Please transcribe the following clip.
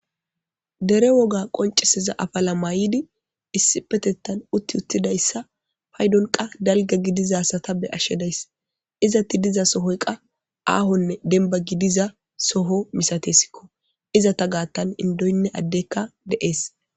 dere woga qoncisiza afala maydi issi petettan utti uttidayssa paydon qa dalga gidiza sata be ashshedays izatti diza sohoy qa aahonne denba gidiza soho misatesikko iza ta gaattan indoynne addekka de7ees